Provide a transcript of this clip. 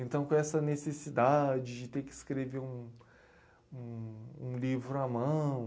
Então, com essa necessidade de ter que escrever um um um livro à mão.